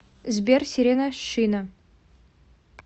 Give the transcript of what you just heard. сбер сирена шина